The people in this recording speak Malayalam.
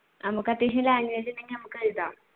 നമുക്ക് അത്യാവശ്യം language ഉണ്ടെങ്കിൽ നമുക്ക് എഴുതാം.